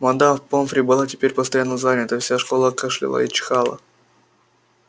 мадам помфри была теперь постоянно занята вся школа кашляла и чихала